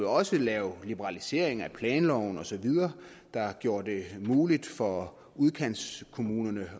også lave en liberalisering af planloven osv der gjorde det muligt for udkantskommunerne